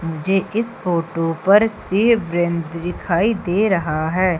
मुझे इस फोटो पर भी दिखाई दे रहा है।